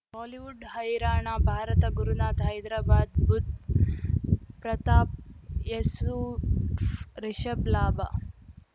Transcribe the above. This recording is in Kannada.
ಬಾಲಿವುಡ್ ಹೈರಾಣ ಭಾರತ ಗುರುನಾಥ ಹೈದರಾಬಾದ್ ಬುಧ್ ಪ್ರತಾಪ್ ಯಸುಫ್ ರಿಷಬ್ ಲಾಭ